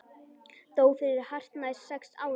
Dó fyrir hartnær sex árum.